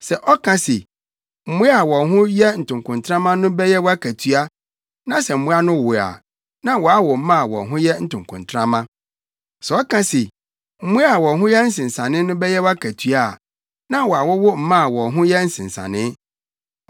Sɛ ɔka se, ‘Mmoa a wɔn ho yɛ ntokontrama no bɛyɛ wʼakatua,’ na sɛ mmoa no wo a, na wɔawo mma a wɔn ho yɛ ntokontrama. Sɛ ɔka se, ‘Mmoa a wɔn ho yɛ nsensanee no bɛyɛ wʼakatua’ a, na wɔawowo mma a wɔn ho yɛ nsensanee.